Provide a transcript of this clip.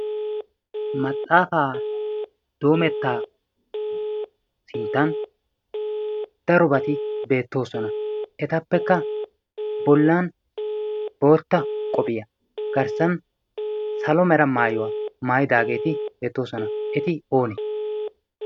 maxaafaa doometta sinttan darobati beettoosona. etappekka bolan bootta qophiyaa garssan salomera maayuwaa maayidaageeti beettoosona. eti oone?